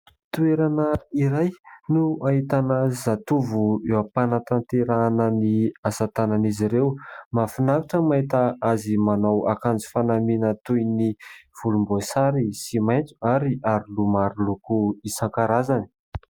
Toerana iray no ahitana zatovo eo am-panantanterahana ny asatanan'izy ireo. Mahafinaritra ny mahita azy manao akanjo fanamiana toy ny volomboasary sy maintso ary aroloha maroloko isankarazany.